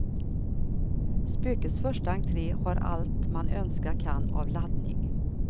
Spökets första entré har allt man önska kan av laddning.